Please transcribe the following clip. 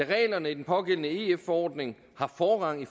da reglerne i den pågældende ef forordning har forrang i